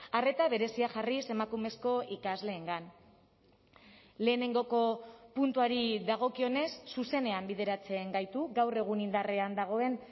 arreta berezia jarriz emakumezko ikasleengan lehenengoko puntuari dagokionez zuzenean bideratzen gaitu gaur egun indarrean dagoen